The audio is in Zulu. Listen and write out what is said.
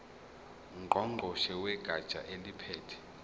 ngqongqoshe wegatsha eliphethe